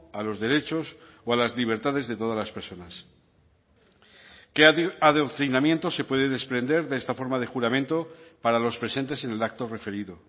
a los derechos o a las libertades de todas las personas qué adoctrinamiento se puede desprender de esta forma de juramento para los presentes en el acto referido